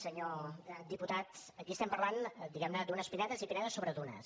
senyor diputat aquí estem parlant diguem ne d’unes pinedes i pinedes sobre dunes